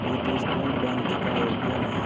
ये तो स्टेट बैंक का एटीएम है।